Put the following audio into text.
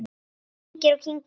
Kyngir og kyngir.